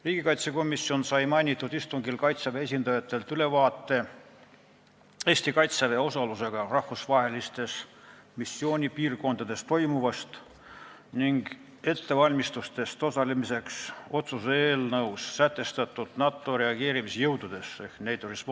Riigikaitsekomisjon sai mainitud istungil Kaitseväe esindajatelt ülevaate Eesti Kaitseväe osalusega rahvusvahelistes missioonipiirkondades toimuvast ning ettevalmistustest otsuse eelnõus sätestatud NATO reageerimisjõududes osalemiseks .